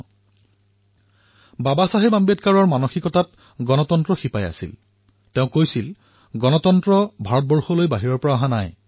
লোকতন্ত্ৰ বাবা চাহেবৰ জীৱনৰ অংশস্বৰূপ আছিল আৰু তেওঁ কৈছিল যে ভাৰতৰ লোকতান্ত্ৰিক মূল্যবোধ বাহিৰৰ পৰা অহা নাই